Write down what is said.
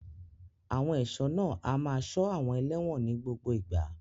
Àwọn ẹ̀ṣọ́ náà a máa ṣọ́ àwọn ẹlẹ́wọ̀n ní gbogbo ìgbà.